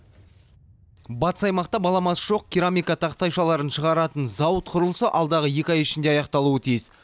батыс аймақта баламасы жоқ керамика тақтайшаларын шығаратын зауыт құрылысы алдағы екі ай ішінде аяқталуы тиіс